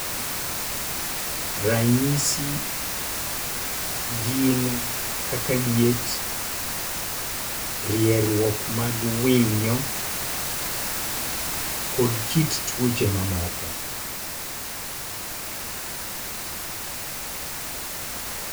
Ranyisi gin kaka liet, rieruok mag winyo, kod kit tuoche mamoko.